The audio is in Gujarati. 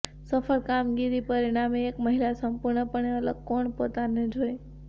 સફળ કામગીરી પરિણામે એક મહિલા સંપૂર્ણપણે અલગ કોણ પોતાને જોઈ